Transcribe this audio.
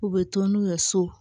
U bɛ to n'u ye so